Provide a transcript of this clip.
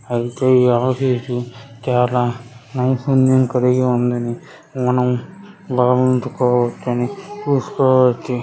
అయితే ఈ ఆఫీసు కేరళ నైపుణ్యం కలిగి ఉందని మనం చూస్కోవచ్చు.